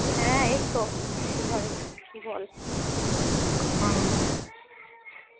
হ্যাঁ এইতো, ঘরে বল। হুম